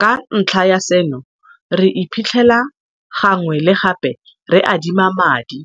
Ka ntlha ya seno, re iphitlhela gangwe le gape re adima madi,